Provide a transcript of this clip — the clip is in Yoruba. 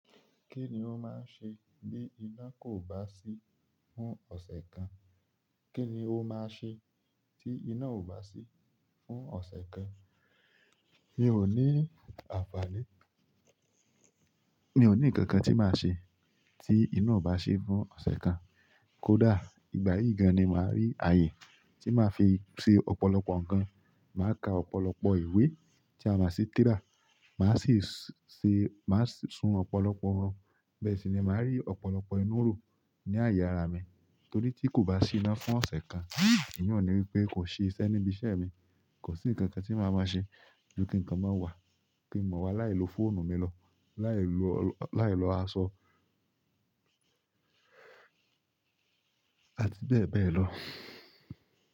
Kí ni o máa ń ṣe bí iná kò bá sí fún ọ̀sẹ̀ kan? Kí ni o máa ṣe tí iná ò bá sí fún ọ̀sẹ̀ kan? Mi ò ní àfààní. Mi ò ní ǹkankan tí màá ṣe tí iná ò bá sí fún ọ̀sẹ̀ kan. Kódà ìgbà yíì gan-an ni màá rí ààyè tí màá fi ṣe ọ̀pọ̀lọpọ̀ ǹkan. Màá ka ọ̀pọ̀lọpọ̀ ìwé tí a mọ̀ sí tírà. Màá sì se, màá sun ọ̀pọ̀lọpọ̀ orun. Bẹ́ẹ̀ sì ni màá rí ọ̀pọ̀lọpọ̀ inú rò ní àyè ara à mi torí tí kò bá sí inà fún ọ̀sẹ̀ kan, ìyún ùn ni wípé kò sí iṣẹ́ níbi iṣẹ́ mi. Kò sí ǹkan kan tí màá máa ṣe. Ju kinkàn ma wà kí n mọ wà láìlo fóònù mi lọ, láìlo, láìlọ aṣọ àti bẹ́ẹ̀ bẹ́ẹ̀ lọ.